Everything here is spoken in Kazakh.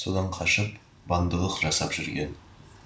содан қашып бандылық жасап жүрген